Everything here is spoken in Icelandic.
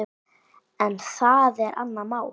En það er annað mál.